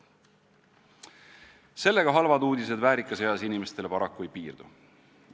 Sellega halvad uudised väärikas eas inimestele paraku ei piirdu.